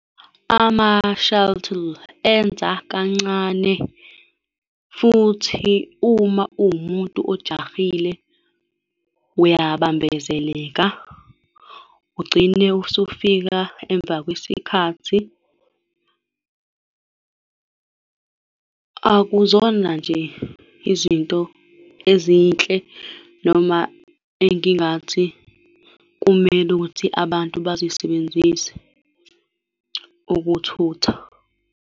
Ama-shuttle enza kancane futhi uma uwumuntu ojahile uyabambezeleka, ugcine usufika emva kwesikhathi. Akuzona nje izinto ezinhle noma engingathi kumele ukuthi abantu bazisebenzise ukuthutha.